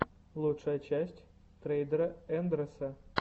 лучшая часть трейдера андрэса